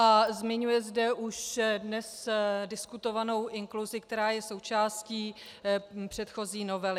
A zmiňuje zde už dnes diskutovanou inkluzi, která je součástí předchozí novely.